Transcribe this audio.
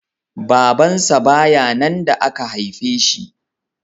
Babansa ba ya nan da aka haife shi